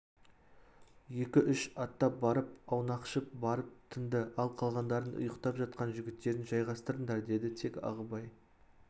екі үш аттап барып аунақшып барып тынды ал қалғандарың ұйықтап жатқан жігіттерін жайғастырыңдар деді тек ағыбай